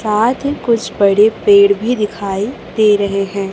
साथ ही कुछ बड़े पेड़ भी दिखाई दे रहे हैं।